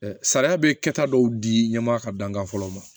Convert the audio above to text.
Sariya bɛ kɛ ta dɔw di ɲɛ ma ka dankan fɔlɔ ma